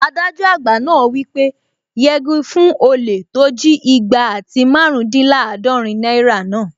Adájọ àgbà náà wí pé "yegi fún olè tó jí igba àti márùndínlàádọ́rin náírà náà!"